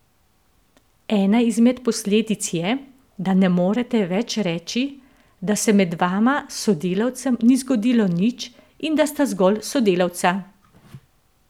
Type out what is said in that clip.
Ena izmed posledic je, da ne morete več reči, da se med vama z sodelavcem ni zgodilo nič in da sta zgolj sodelavca.